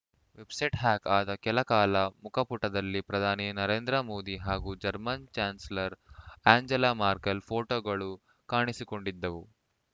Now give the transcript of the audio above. website hack ಆದ ಕೆಲ ಕಾಲ ಮುಖಪುಟದಲ್ಲಿ ಪ್ರಧಾನಿ ನರೇಂದ್ರ ಮೋದಿ ಹಾಗೂ ಜರ್ಮನ್‌ ಚಾನ್ಸಲರ್‌ ಆ್ಯಂಜೆಲಾ ಮರ್ಕೆಲ್‌ ಫೋಟೋಗಳು ಕಾಣಿಸಿಕೊಂಡಿದ್ದವು